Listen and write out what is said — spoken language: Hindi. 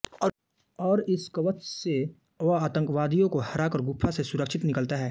और इस कवच से वह आतंकवादीयोको हराकर गुफा से सुरक्षित निकलता है